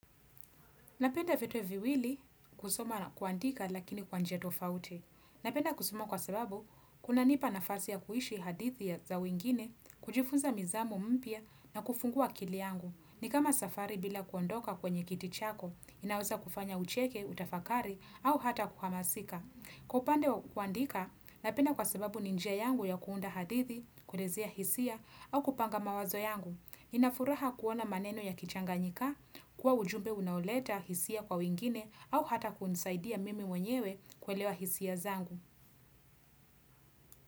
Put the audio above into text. Napenda vitu viwili kusoma na kuandika lakini kwa njia tofauti. Napenda kusoma kwa sababu, kunanipa nafasi ya kuishi hadithi za wengine, kujifunza misemo mpya na kufungua akili yangu. Ni kama safari bila kuondoka kwenye kiti chako, inaweza kufanya ucheke, utafakari au hata kuhamasika. Kwa upande wa kuandika, napenda kwa sababu ni njia yangu ya kuunda hadithi, kuelezea hisia au kupanga mawazo yangu. Nina furaha kuona maneno yakichanganyika, kuwa ujumbe unaoleta hisia kwa wengine au hata kunisaidia mimi mwenyewe kuelewa hisia zangu.